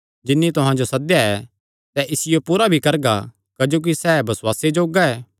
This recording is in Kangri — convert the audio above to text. जिन्नी तुहां जो सद्देया ऐ सैह़ इसियो पूरा भी करगा क्जोकि सैह़ बसुआसे जोग्गा ऐ